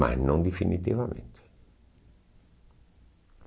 Mas não definitivamente.